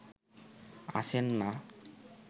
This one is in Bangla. আসেন না